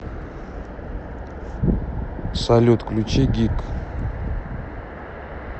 салют включи гиг